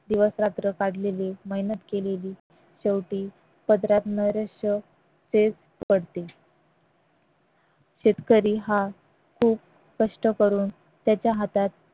दिवसरात्र काढलेली मेहनत केलेली शेवटी पदरात नैराश्य तेच पडते शेतकरी हा खूप कष्ट करून त्याच्या हातात